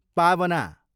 पावना